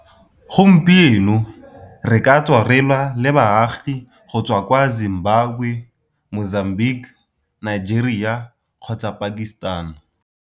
Gompieno, re ka tswa re lwa le baagi go tswa kwa Zimbabwe, Mozambique, Nigeria kgotsa Pakistan.